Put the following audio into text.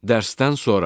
Dərsdən sonra.